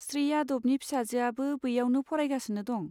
श्री यादवनि फिसाजोआबो बैयावनो फरायगासिनो दं।